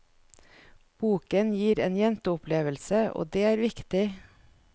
Boken gir en jenteopplevelse og det er viktig.